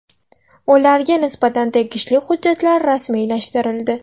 Ularga nisbatan tegishli hujjatlar rasmiylashtirildi.